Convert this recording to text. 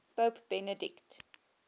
pope benedict